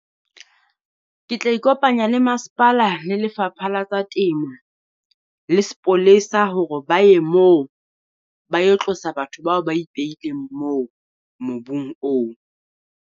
Ke tla ikopanya le masepala le Lefapha la tsa Temo le sepolesa hore ba ye moo, ba yo tlosa batho bao ba ipehileng moo mobung oo.